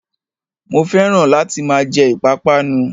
Mo fẹ́ràn láti máa jẹ ìpápánu